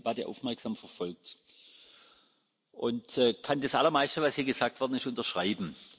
Ich habe diese Debatte aufmerksam verfolgt und kann das Allermeiste, das hier gesagt wurde, unterschreiben.